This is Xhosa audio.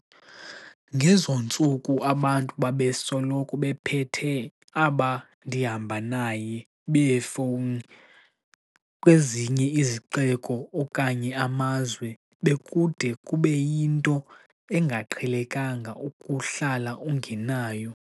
Ngezo ntsuku abantu babesoloko bephethe aba 'ndihamba naye' beefowuni, kwezinye izixeko okanye amazwe bekude kube yinto engaqhelekanga ukuhlala ungenayo.